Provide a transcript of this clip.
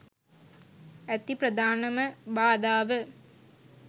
ඇති ප්‍රධානම බාධාව